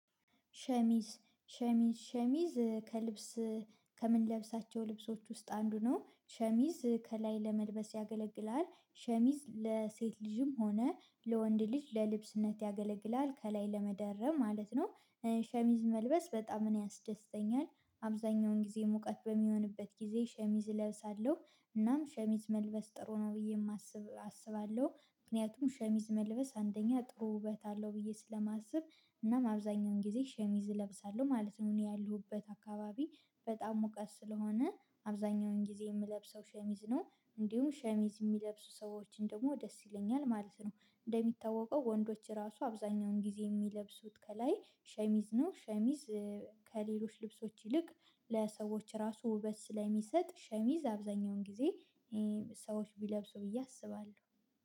ሸሚዝ ሸሚዝ ሸሚዝ ከልብስ ከምንለብሳቸው ልብሶች ውስጥ አንዱ ነው። ሸሚዝ ከላይ ለመልበስ ያገለግላል ሸሚዝ ለሴት ልጅም ሆነ ለወንድ ልጅ ለልብስነት ያገለግላል። ከላይ ለመደረብ ማለት ነው። ሸሚዝ መልበስ በጣም ነው ያስደስተኛል። አብዛኛውን ጊዜ ሙቀት በሚሆንበት ጊዜ ሸሚዝ እለብሳለሁ እናም ሸሚዝ መልበስ ጥሩ ነው ብዬ የማስብ አስባለሁ። ምክንያቱም ሸሚዝ መልበስ አንደኛ ጥሩ ውበት አለው ብዬ ስለማስብ እናም አብዛኛውን ጊዜ ሸሚዝ እለብሳለሁ ማለት ነው እኔ ያሉበት አካባቢ በጣም ሞቀት ስለሆነ። አብዛኛውን ጊዜ የምለብሰው ሸሚዝ ነው። እንዲሁም ሸሚዝ የሚለብሱ ሰዎችን ደግሞ ደስ ይለኛል ማለት ነው። እንደሚታወቀው ወንዶች እራሱ አብዛኛውን ጊዜ የሚለብሱት ከላይ ሸሚዝ ነው። ሸሚዝ ከሌሎች ልብሶች ይልቅ ለሰዎች እራሱ ውበት ስለሚሰጥ ሸሚዝ አብዛኛውን ጊዜ ሰዎች ቢለብሱ ብዬ አስባለሁ።